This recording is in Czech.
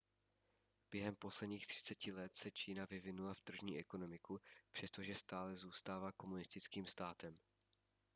během posledních třiceti let se čína vyvinula v tržní ekonomiku přestože stále zůstává komunistickým státem